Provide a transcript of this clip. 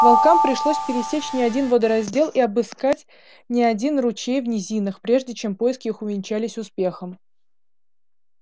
волкам пришлось пересечь не один водораздел и обыскать не один ручей в низинах прежде чем поиски их увенчались успехом